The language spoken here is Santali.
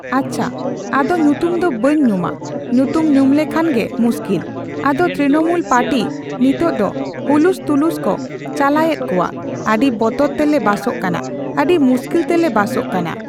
ᱟᱪᱪᱷᱟ, ᱟᱫᱚ ᱧᱩᱛᱩᱢ ᱫᱚ ᱵᱟᱹᱧ ᱧᱩᱢᱟ᱾ ᱧᱩᱛᱩᱢ ᱧᱩᱢ ᱞᱮᱠᱷᱟᱱ ᱜᱮ ᱢᱩᱥᱠᱤᱞ᱾ ᱟᱫᱚ ᱛᱨᱤᱱᱢᱩᱞ ᱯᱟᱴᱤ ᱱᱤᱛᱳᱜ ᱫᱚ ᱦᱩᱞᱩᱥᱼᱛᱩᱞᱩᱥ ᱠᱚ ᱪᱟᱞᱟᱮᱫ ᱠᱟᱱᱟ᱾ ᱟᱰᱤ ᱵᱚᱛᱚᱨ ᱛᱮᱞᱮ ᱵᱟᱥᱚᱜ ᱠᱟᱱᱟ᱾ ᱟᱹᱰᱤ ᱢᱩᱥᱠᱤᱞ ᱛᱮᱞᱮ ᱵᱟᱥᱚᱜ ᱠᱟᱱᱟ᱾